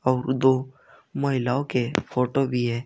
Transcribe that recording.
और दो महिलाओं के फोटो भी है।